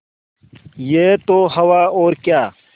यह तो हवा और क्या